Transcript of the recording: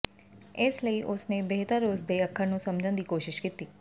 ਇਸ ਲਈ ਉਸ ਨੇ ਬਿਹਤਰ ਉਸ ਦੇ ਅੱਖਰ ਨੂੰ ਸਮਝਣ ਦੀ ਕੋਸ਼ਿਸ਼ ਕੀਤੀ